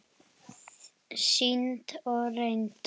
Sýnd og reynd.